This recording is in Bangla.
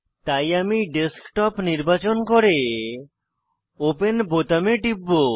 তাই আমি ডেস্কটপ নির্বাচন করে ওপেন বোতামে টিপব